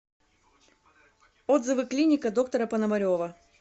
отзывы клиника доктора пономарева